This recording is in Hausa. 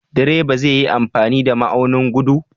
Direba zai yi amfani da ma'aunin gudu?